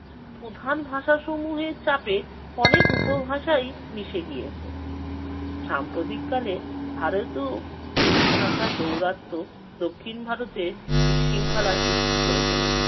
প্রধান ভাষাসমূহের চাপে অনেক উপভাষাই মিশে গিয়েছে। সাম্প্রতিককালে ভারতেও হিন্দি ভাষার দৌরাত্ম্য দক্ষিণ ভারতের বিশৃঙ্খলা সৃষ্টি করে চলেছে।